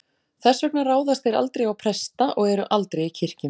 Þess vegna ráðast þeir aldrei á presta og eru aldrei í kirkjum.